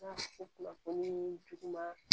kunnafoni juguman